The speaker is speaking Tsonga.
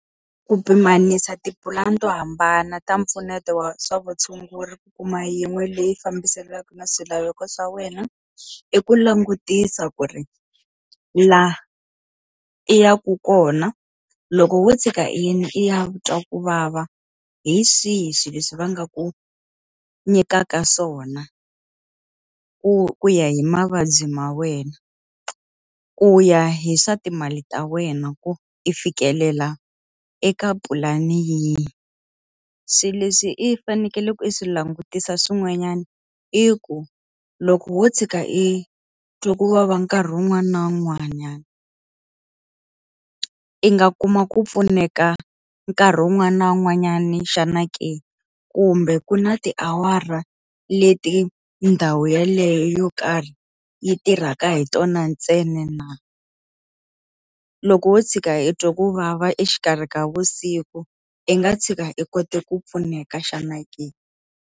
Ku pimanisa tipulani to hambana ta mpfuneto wa swa vutshunguri ku kuma yin'we leyi fambiselanaka na swilaveko swa wena, i ku langutisa ku ri laha i yaka kona, loko wo tshuka i yile i ya twa ku vava hi swihi swilo leswi va nga ku nyikaka swona ku ku ya hi mavabyi ma wena? Ku ya hi swa timali ta wena ku i fikelela eka pulani yihi? Swilo leswi i fanekele ku swi langutisa swin'wanyana i ku, loko wo tshuka i twa ku vava nkarhi wun'wana na wun'wanyana, i nga kuma ku pfuneka nkarhi wun'wana na wun'wanyana xana ke? Kumbe ku na tiawara leti ndhawu yeleyo yo karhi yi tirhaka hi tona ntsena na? Loko wo tshuka i twa ku vava exikarhi ka vusiku, i nga tshika i kota ku pfuneka xana ke?